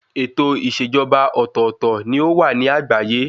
Ètò ìṣèjọba ọ̀tọ̀ọ̀tọ̀ ni ó wà ní àgbáyé.